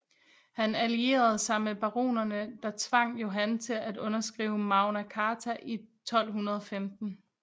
Han allierede sig med baronerne der tvang Johan til at underskrive Magna Carta i 1215